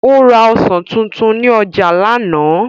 Ó ra ọsàn tuntun ní ọjà lánàá.